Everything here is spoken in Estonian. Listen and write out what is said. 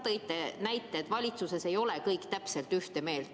Te ka ise tõite näite, et valitsuses ei ole kõik täpselt ühte meelt.